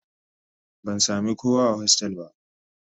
Ban sami kowa a hostel ba